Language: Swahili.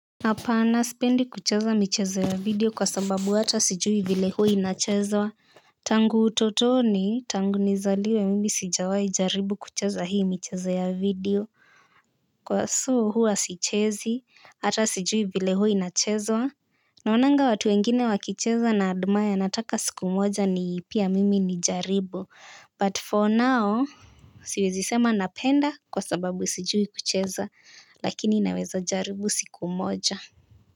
Hapana sipendi kucheza michezo ya video kwa sababu hata sijui vile huo inachezwa. Tangu utotoni tangu nizaliwe mimi sijawahi jaribu kucheza hii michezo ya video huwa sichezi hata sijui vile huwa inachezwa. Naona watu wengine wakicheza na admire nataka siku moja ni pia mimi nijaribu but for now siwezi sema napenda kwa sababu sijui kucheza lakini naweza jaribu siku moja.